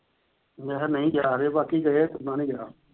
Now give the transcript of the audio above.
ਮੈਂ ਕਿਹਾ ਨਹੀਂ ਗਿਆ, ਬਾਕੀ ਗਏ ਆ, ਸੋਮਾ ਨਹੀਂ ਗਿਆ।